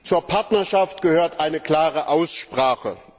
Zur Partnerschaft gehört eine klare Aussprache.